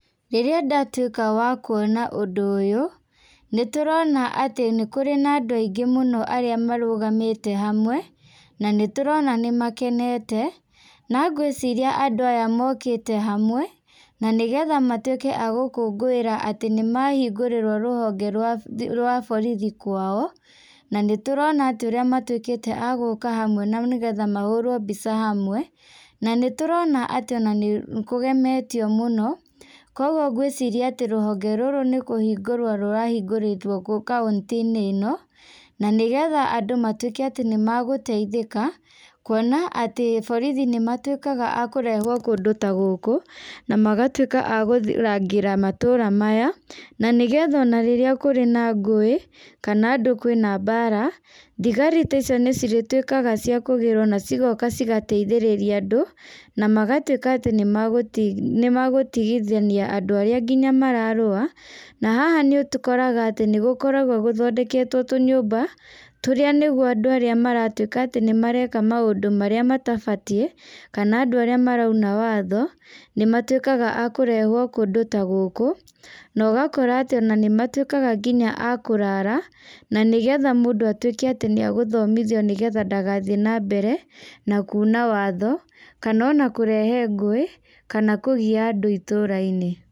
Rĩrĩa ndatuĩka wa kuona ũndũ ũyũ, nĩ tũrona atĩ nĩ kũrĩ na andũ aingĩ mũno arĩa marũgamĩte hamwe, na nĩ tũrona nĩ makenete. Na ngwĩciria andũ aya mokĩte hamwe, na nĩgetha matuĩke a gũkũngũĩra atĩ nĩ mahingũrĩrwo rũhonge rwa, rwa borithi kwao. Na nĩ tũrona atĩ ũrĩa matuĩkĩte a gũũka hamwe na nĩgetha mahũũrwo mbica hamwe. Na nĩ tũrona atĩ ona nĩ kũgemetio mũno. Kũguo ngwĩciria atĩ rũhonge rũrũ nĩ kũhingũrwo rũrahingũrĩtwo kauntĩ-inĩ ĩno, na nĩgetha andũ matuĩke atĩ nĩ magũteithĩka, kuona atĩ borithi nĩ matuĩkaga a kũrehwo kũndũ ta gũkũ, na magatuĩka a kũrangĩra matũũra maya. Na nĩgetha ona rĩrĩa kũrĩa na ngũĩ, kana andũ kwĩna mbaara, thigari ta icio nĩ cirĩtuĩkaga cia kũgĩrwo na cigoka cigateithĩrĩria andũ, na magatuĩka atĩ nĩ nĩ magũtigithania andũ arĩa nginya mararũa. Na haha nĩ tũkoraga atĩ nĩ gũkoragwo gũthendeketwo tũnyũmba, tũrĩa nĩguo andũ arĩa maratuĩka atĩ nĩ mareka maũndũ marĩa matabatiĩ, kana andũ arĩa marauna watho, nĩ matuĩkaga a kũrehwo kũndũ ta gũkũ. Na ũgakora atĩ ona nĩ matuĩkaga nginya a kũrara, na nĩgetha mũndũ atuĩke atĩ nĩ agũthomithio nĩgetha ndagathiĩ na mbere, na kuna watho, kana ona kũrehe ngũĩ, kana kũgia andũ itũũra-inĩ.